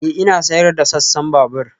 Ee, Ina sayar da sassan babur anan